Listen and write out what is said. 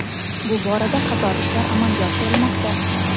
Bu borada qator ishlar amalga oshirilmoqda.